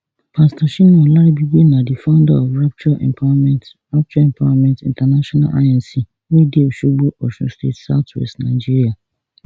bishop shina olaribigbe na di founder of rapture empowerment rapture empowerment intl inc wey dey osogbo osun state southwest nigeria